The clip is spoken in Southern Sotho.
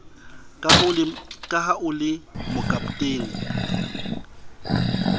ka ha o le mokapotene